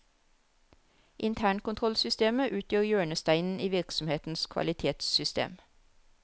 Internkontrollsystemet utgjør hjørnesteinen i virksomhetens kvalitetssystem.